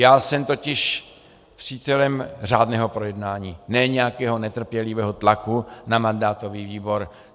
Já jsem totiž přítelem řádného projednání, ne nějakého netrpělivého tlaku na mandátový výbor.